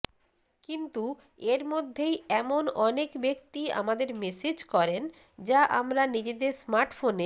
কিন্তু এর মধ্যেই এমন অনেক ব্যাক্তি আমাদের মেসেজ করেন যা আমরা নিজেদের স্মার্টফোনে